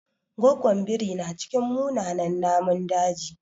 Goggon biri na cikin munanan namun daji.